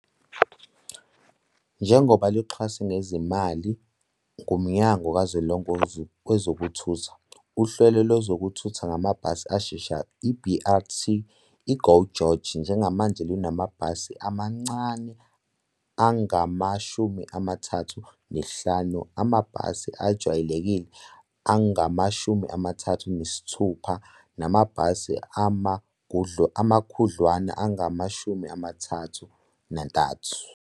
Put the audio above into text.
Njengoba luxhaswe ngezimali nguMnyango kaZwelonke WezokuThutha, uhlelo lwezokuthutha ngamabhasi asheshayo, i-BRT, i-GO GEORGE njengamanje lunamabhasi amancane angama-35, amabhasi ajwayelekile angama-36 namabhasi amakhudlwana angama-33.